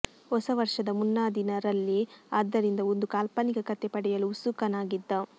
ಹೊಸ ವರ್ಷದ ಮುನ್ನಾದಿನ ರಲ್ಲಿ ಆದ್ದರಿಂದ ಒಂದು ಕಾಲ್ಪನಿಕ ಕಥೆ ಪಡೆಯಲು ಉತ್ಸುಕನಾಗಿದ್ದ